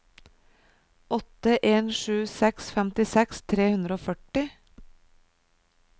åtte en sju seks femtiseks tre hundre og førti